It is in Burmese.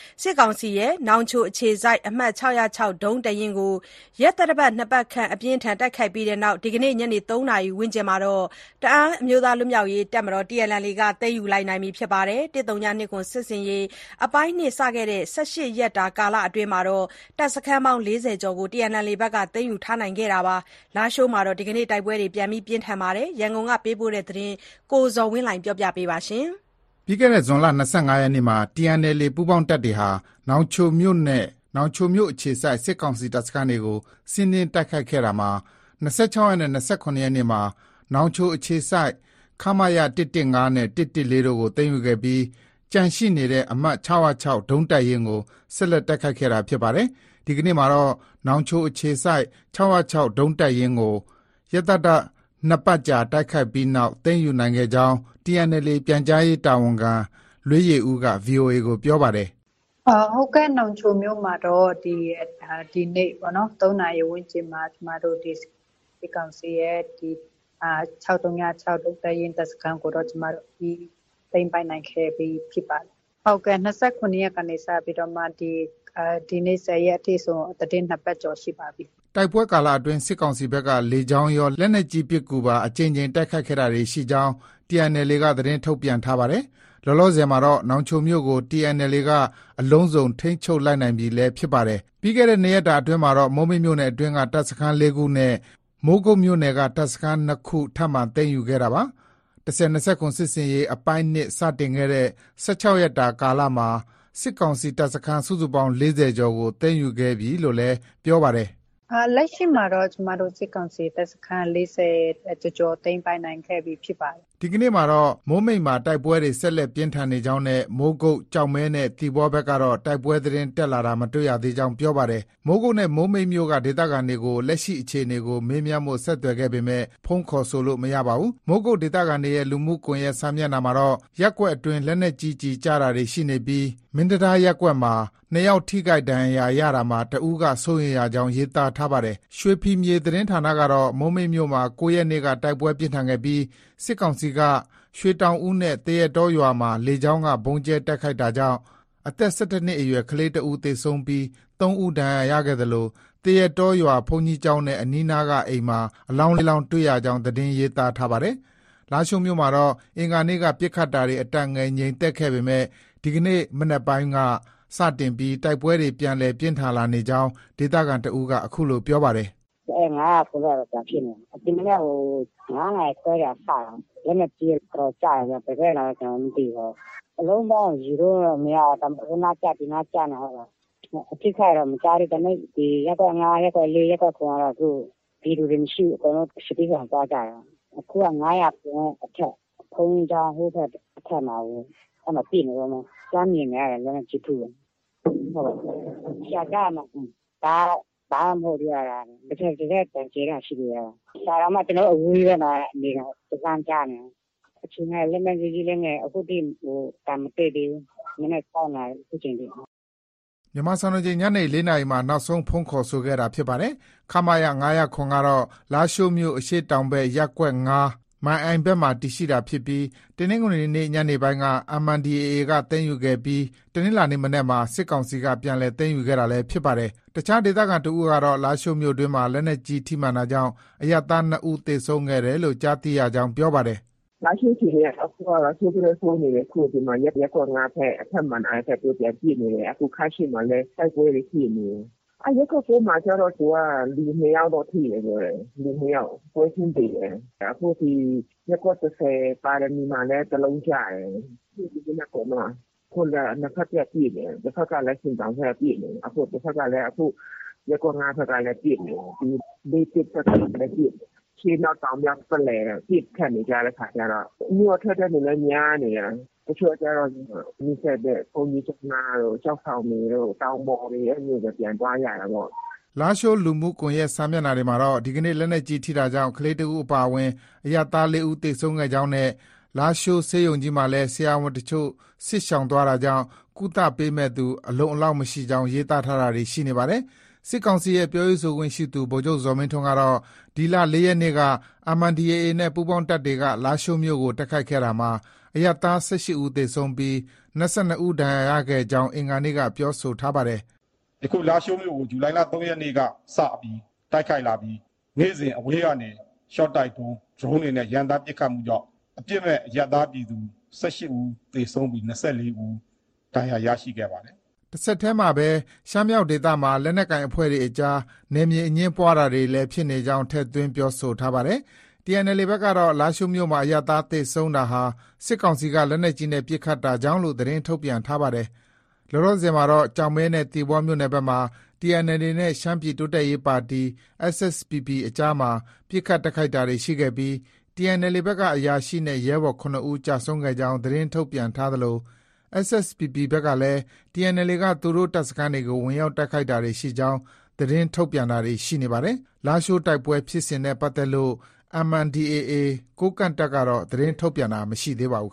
စစ်ကောင်စီရဲ့ နောင်ချိုအခြေစိုက် အမှတ် ဒုံးတပ်ရင်းကို ရက်သတ္တ ၂ပတ်ခန့် အပြင်းအထန် တိုက်ခိုက်ပြီးနောက် ဒီနေ့ ညနေ ၃နာရီ ဝန်းကျင်မှာ တအန်းအမျိုးသားလွတ်မြောက်ရေးတပ်မတော် TNLA က သိမ်းယူလိုက်ပါတယ်။ ၁၀၂၇ စစ်ဆင်ရေး အပိုင်း စတင်ခဲ့တဲ့ ၁၆ ရက်တာ ကာလအတွင်း တပ်စခန်းပေါင်း ၄၀ ကျော်ကို TNLA ကသိမ်းယူထားပါတယ်။ လားရှိုးမြို့မှာတော့ ဒီနေ့ တိုက်ပွဲတွေ ပြန်လည် ပြင်းထန်လာပြီး လက်နက်ကြီး ထိမှန်တာကြောင့် အနည်းဆုံး ၂ဦး သေဆုံးခဲ့ပါတယ်။ ဒီအကြောင်း ရန်ကုန်ကပေးပို့တဲ့သတင်းကို အခြေခံပြီး ကိုဇော်ဝင်းလှိုင်က တင်ပြပေးထားပါတယ်။ ပြီးခဲ့တဲ့ ဇွန်လ ၂၅ရက်နေ့မှာ TNLA ပူးပေါင်းတပ်တွေဟာ နောင်ချိုမြို့နဲ့ နောင်ချိုမြို့အခြေစိုက် စစ်ကောင်စီ တပ်စခန်းတွေကို စီးနင်း တိုက်ခိုက်ခဲ့ရာမှာ ၂၆ ရက်နဲ့ ၂၇ ရက်နေ့တွေမှာ နောင်ချိုအခြေစိုက် ခမရ နဲ့ တို့ကို သိမ်းယူခဲ့ပြီး ကျန်ရှိနေတဲ့ အမှတ် ဒုံးတပ်ရင်းကို ဆက်လက် တိုက်ခိုက်ခဲ့တာ ဖြစ်ပါတယ်။ ဒီကနေ့မှာတော့ နောင်ချိုအခြေစိုက် ဒုံးတပ်ရင်းကို ရက်သတ္တ ၂ပတ်ကြာ တိုက်ခိုက်ပြီးနောက် သိမ်းယူနိုင်ခဲ့ကြောင်း TNLA ပြန်ကြားရေးတာဝန်ခံ လွေးယေဦးက ဗွီအိုအေကို ပြောပါတယ်။ “ ဟုတ်ကဲ့။ နောင်ချိုမြို့မှာတော့ ဒီနေ့ ၃နာရီ ဝန်းကျင်မှာ ကျမတို့ စစ်ကောင်စီရဲ့ ၆၀၆ ဒုံးတပ်ရင်း တပ်စခန်းကိုတော့ ကျမတို့ အပြီး သိမ်းပိုက်နိုင်ခဲ့ပြီ ဖြစ်ပါတယ်။ ဟုတ်ကဲ့။ ၂၇ရက်ကနေ စပြီးတော့မှာ ဒီနေ့ ၁၀ရက်အထိဆို သီတင်း ၂ပတ်ကျော်ရှိပါပြီ။” ဒီတိုက်ပွဲကာလအတွင်း စစ်ကောင်စီဘက်က လေကြောင်းရော၊ လက်နက်ကြီးပစ်ကူပါ အကြိမ်ကြိမ် တိုက်ခိုက်တာတွေ ရှိခဲ့ကြောင်း TNLA က သတင်းထုတ်ပြန်ထားပါတယ်။ လောလောဆယ်မှာတော့ နောင်ချိုမြို့ကို TNLA က အလုံးစုံ ထိန်းချုပ်နိုင်လိုက်ပြီလည်း ဖြစ်ပါတယ်။ ပြီးခဲ့တဲ့ ၂ရက်တာ အတွင်းမှာတော့ မိုးမိတ်မြို့နယ်အတွင်းက တပ်စခန်း ၄ ခုနဲ့ မိုးကုတ်မြို့နယ်က တပ်စခန်း ၂ ခု ထပ်မံသိမ်းယူခဲ့တာပါ။ ၁၀၂၇ စစ်ဆင်ရေး အပိုင်း ၂ စတင်ခဲ့တဲ့ ၁၆ ရက်တာကာလမှာ စစ်ကောင်စီတပ်စခန်း စုစုပေါင်း ၄၀ ကျော်ကို သိမ်းယူခဲ့ပြီလို့လည်း ပြောပါတယ်။ “လက်ရှိမှာတော့ ကျမတို့ စစ်ကောင်စီတပ်စခန်း ၄၀ကျော်ကျော် သိမ်းပိုက်နိုင်ခဲ့ပြီ ဖြစ်ပါတယ်။” ဒီကနေ့မှာတော့ မိုးမိတ်မှာ တိုက်ပွဲတွေ ဆက်လက်ပြင်းထန်နေကြောင်းနဲ့ မိုးကုတ်၊ ကျောက်မဲနဲ့ သီပေါဘက်ကတော့ တိုက်ပွဲသတင်း တက်လာတာမတွေ့ရသေးကြောင်း ပြောပါတယ်။ မိုးကုတ်နဲ့ မိုးမိတ်မြို့က ဒေသခံတွေကို လက်ရှိ အခြေအနေကို မေးမြန်းဖို့ ဆက်သွယ်ခဲ့ပေမဲ့ ဖုန်းခေါ်ဆိုလို့ မရပါဘူး။ မိုးကုတ်ဒေသခံတွေရဲ့ လူမှုကွန်ရက်စာမျက်နှာမှာတော့ ရပ်ကွက်အတွင်း လက်နက်ကြီးကျည်ကျတာတွေ ရှိနေပြီး မင်းတံတားရပ်ကွက်မှာ ၂ယောက်ထိခိုက်ရာမှာ တဦးက စိုးရိမ်ရကြောင်း ရေးသားထားပါတယ်။ ရွှေဖီမြေသတင်းဌာနကတော့ မိုးမိတ်မြို့မှာ ၉ရက်နေ့က တိုက်ပွဲပြင်းထန်ခဲ့ပြီး စစ်ကောင်စီက ရွှေတောင်ဦးနဲ့ သရက်တောရွာမှာ လေကြောင်းက ဗုံးကြဲတိုက်ခိုက်တာကြောင့် အသက်၁၁နှစ်အရွယ် ကလေး တဦး သေဆုံးပြီး ၃ဦး ဒဏ်ရာရခဲ့သလို သရက်တောရွာဘုန်းကြီးကျောင်းနဲ့ အနီးအနားက အိမ်မှာ အလောင်း ၄ လောင်းတွေ့ရကြောင်း သတင်းရေးသားထားပါတယ်။ လားရှိုးမြို့မှာတော့ အင်္ဂါနေ့က ပစ်ခတ်တာတွေ အတန်ငယ် ငြိမ်သက်ခဲ့ပေမဲ့ ဒီကနေ့ မနက်ပိုင်းက စတင်ပြီး တိုက်ပွဲတွေ ပြန်လည် ပြင်းထန်လာနေကြောင်းး ဒေသခံတဦးက အခုလို ပြောပါတယ်။ “ ၅၀၇ ဘက်ပဲ ပြန်ဖြစ်နေတာ။ ဒီမနက် ၅နာရီခွဲထဲက စတာ။ လက်နက်ကြီးက တော်တော်ကျတယ်ဗျ။ ဘယ်ဘက်ကလာလဲတော့ ကျနော်လည်း မသိဘူး။ အလုံးပေါင်းက ရေလို့တော့ မရဘူး။ ဟိုနာကျ ၊ ဒီနားကျနဲ့။ အထိအခိုက်တော့ မကြားသေးဘူး။ ဒါပေမဲ့ ရပ်ကွက် ၅၊ ရပ်ကွက် ၄၊ ရပ်ကွက်၇ ကတော့ ပြည်သူတွေ မရှိဘူး ။ စစ်ဘေးရှောင်သွားကြတယ်။ အခုက ၅၀၇ အထက် ဘုန်းကြီးကျောင်း ဟိုဘက်မှာ ပစ်နေတုံးပဲ။ လှမ်းမြင်နေရတယ် လက်နက်ကြီး ထုတာ။ ကြားတယ်မဟုတ်လား။ ဒါ ဘာမှ မဟုတ်သေးဘူး။ တကယ့်အသံကျယ်တဲ့ဟာ ရှိတယ်။ ဒါတောင်မှ အဝေးကြီးပဲနော် နေတာ။ ကျနော်တို့ လှမ်းကြားနေရတယ်။ အခြေအနေက လက်နက်ကြီး လက်နက်ငယ် အခုထိ အသံမစဲသေးဘူး။ မနက် ၆နာရီကနေ ခုချိန်ထိ။ ” မြန်မာစံတော်ချိန် ညနေ ၄နာရီမှာ နောက်ဆုံး ဖုန်းခေါ်ဆိုခဲ့တာ ဖြစ်ပါတယ်။ ခမရ ကတော့ လားရှိုးမြို့ အရှေ့တောင်ဘက် ရပ်ကွက် ၅၊ မန်အိုင်ဘက်မှာ တည်ရှိတာဖြစ်ပြီး တနင်္ဂနွေနေ့ ညနေပိုင်းက MNDAA က သိမ်းယူခဲ့ပြီး တနင်္လာနေ့မနက်မှာ စစ်ကောင်စီတပ်က ပြန်လည် သိမ်းယူခဲ့တာလည်း ဖြစ်ပါတယ်။ အခြားဒေသခံတဦးကတော့ လားရှိုးမြို့တွင်းမှာ လက်နက်ကြီး ထိမှန်တာကြောင့် အရပ်သား၂ဦးသေဆုံးတယ် လို့ ကြားသိရကြောင်း ပြောပါတယ်။ “ လားရှိုးအခြေအနေက ဆိုးသထက် ဆိုးနေတယ်။ အခုက ရပ်ကွက် ၅ ဘက်၊ အထက်မန်အိုင်ဘက်မှာ ပစ်နေတယ်။ ခါးသျှီမှာလည်း တိုက်ပွဲတွေ ဖြစ်နေတယ်။ ရပ်ကွက် ၉မှာကျတော့ လူ၂ယောက်တော့ ထိတယ် ပြောတယ်။ လူ၂ယောက်ပွဲချင်းပြီးသေတယ်။ အခုဒီ ရပ်ကွက် ၁၀မှာလည်း တလုံးကျတယ်။ ဒီမနက်ပေါ့နော။ အခုက နှစ်ဘက်တပ်ပစ်နေတယ်။ တဘက်ကလည်း ဆင်တောင်ဘက်က ပစ်နေတယ်။ တဘက်ကလည်း ရပ်ကွက် ၅က ပစ်နေတယ်။ ၄၁ဘက်ကလည်း ပစ်နေတယ်။ အရှေ့အနောက်တောင်မြောက် ပတ်လည်ပစ်ခတ် နေတဲ့အခါကျတော့ မြို့က ထွက်တဲ့လူလည်း များနေတာ။ တချို့ကျတော့ နီးစပ်တဲ့ ဘုန်းကြီးကျောင်းနားတို့၊ ကျောက်ဆောင်တွေတို့၊တောင်ပေါ်တွေတို့ အဲလိုပဲ ပြန်သွားကြရတာပေါ့။ ” လားရှိုးလူမှုကွန်ရက်စာမျက်နှာတွေမှာတော့ ဒီနေ့ လက်နက်ကြီး ထိတာကြောင့် ကလေးတဦးအပါအဝင် အရပ်သား ၄ဦးသေဆုံးကြောင်းနဲ့ လားရှိုး ဆေးရုံကြီးမှာလည်း ဆရာဝန်အချို့ စစ်ရှောင်သွားတာကြောင့် ကုသပေးမယ့်သူ အလုံအလောက်မရှိကြောင်း ရေးသားထားတာတွေ ရှိနေပါတယ်။ စစ်ကောင်စီရဲ့ ပြောရေးဆိုခွင့်ရှိသူ ဗိုလ်ချုပ်ဇော်မင်းထွန်းကတော့ ဒီလ ၃ရက်နေ့က MNDAA နဲ့ ပူးပေါင်းတပ်တွေက လားရှိုးမြို့ကို တိုက်ခိုက်ခဲ့ရာမှာ အရပ်သား ၁၈ ဦးသေဆုံးပြီး ၂၂ ဦး ဒဏ်ရာရခဲ့ကြောင်း အင်္ဂါနေ့ကပြောဆိုထားပါတယ်။ “ ယခု လားရှိုးမြို့ကို ဇူလိုင်လ ၃ရက်နေ့က စပြီး တိုက်ခိုက်လာပြီး နေ့စဉ် အဝေးကနေ ရှော့တိုက်ဒုံး၊ Dorne တွေနဲ့ ရမ်းသမ်းပစ်ခတ်မှုကြောင့် အပြစ်မဲ့ အရပ်သားပြည်သူ ၁၈ ဦးသေဆုံးပြီး ၂၄ဦး ဒဏ်ရာရခဲ့ပါတယ်။” တဆက်တည်းမှာပဲ ရှမ်းမြောက်ဒေသမှာ လက်နက်ကိုင်အဖွဲ့တွေအကြား နယ်မြေအငြင်းပွားတာတွေလည်း ဖြစ်နေကြောင်း ထည့်သွင်း ပြောဆိုထားပါတယ်။ TNLA ဘက်ကတော့ လားရှိုးမြို့မှာ အရပ်သားသေဆုံးတာဟာ စစ်ကောင်စီက လက်နက်ကြီးနဲ့ ပစ်ခတ်တာကြောင့်လို့ သတင်း ထုတ်ပြန်ထားပါတယ်။ လောလောဆယ်မှာတော့ ကျောက်မဲနဲ့ သီပေါမြို့နယ်ဘက်မှာ TNLA နဲ့ ရှမ်းပြည်တိုးတက်ရေးပါတီ SSPP အကြားမှာ ပစ်ခတ်တိုက်ခိုက်တာတွေ ရှိခဲ့ပြီး TNLA ဘက်က အရာရှိနဲ့ ရဲဘော် ၇ ဦး ကျဆုံးခဲ့ကြောင်း သတင်းထုတ်ပြန်ထားသလို SSPP ဘက်ကလည်း TNLA က သူတို့ တပ်စခန်းတွေကို ဝင်ရောက်တိုက်ခိုက်တာတွေ ရှိကြောင်း သတင်းထုတ်ပြန်တာတွေရှိနေပါတယ်။ လားရှိုးတိုက်ပွဲဖြစ်စဉ်နဲ့ပတ်သက်လို့ MNDAA ကိုးကန့်တပ်ကတော့ သတင်းထုတ်ပြန်တာ မရှိသေးပါဘူး